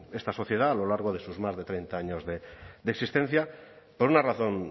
esta sociedad a lo largo de sus más de treinta años de existencia por una razón